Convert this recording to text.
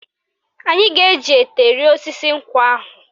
Anyị ga-eji ete rịa osisi nkwụ ahụ.